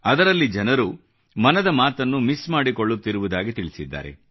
ಅದರಲ್ಲಿ ಜನರು ಮನದ ಮಾತನ್ನು ಮಿಸ್ ಮಾಡಿಕೊಳ್ಳುತ್ತಿರುವುದಾಗಿ ತಿಳಿಸಿದ್ದಾರೆ